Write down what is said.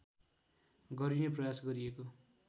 गरिने प्रयास गरिएको